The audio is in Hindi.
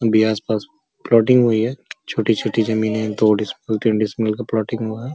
अभी आस-पास प्लॉटिंग हुई है छोटी-छोटी जमीनें दो बोलते का प्लॉटिंग हुआ है।